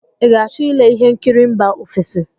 Ị ga-achọ ile ihe nkiri mba ofesi?